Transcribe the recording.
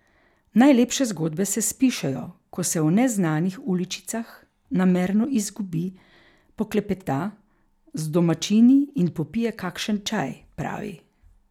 Najlepše zgodbe se spišejo, ko se v neznanih uličicah namerno izgubi, poklepeta z domačini in popije kakšen čaj, pravi.